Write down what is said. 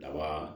Daba